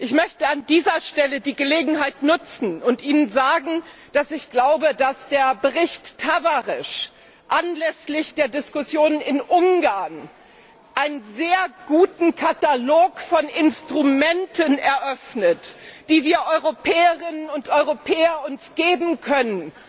Ich möchte an dieser Stelle die Gelegenheit nutzen, Ihnen zu sagen, dass ich glaube, dass der Bericht Tavares anlässlich der Diskussion in Ungarn einen sehr guten Katalog von Instrumenten eröffnet, die wir Europäerinnen und Europäer uns geben können,